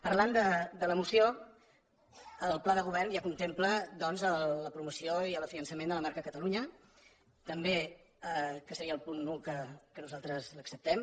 parlant de la moció el pla de govern ja contempla doncs la promoció i la consolidació de la marca catalunya que seria el punt un que nosaltres l’acceptem